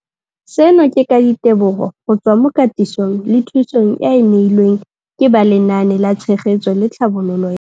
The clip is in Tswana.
Seno ke ka ditebogo go tswa mo katisong le thu song eo a e neilweng ke ba Lenaane la Tshegetso le Tlhabololo ya.